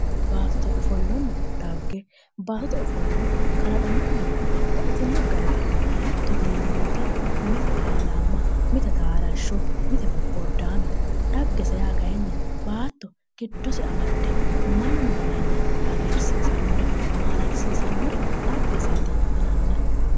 Baattote ofollonna dhagge ,baattote ofollo kalaqamunni babbaxitino garite hattono yineemmo woyte mite ilalamma, mite taalasho mite bobodaamete dhaghese yaa kayinni baatto giddose amade mannu laenna hagiirsisanore maalalisiisanore dhaggeseti yinnanni.